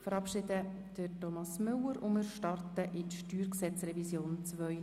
Wir verabschieden Thomas Müller von der Justizleitung und starten in die StG-Revision2019.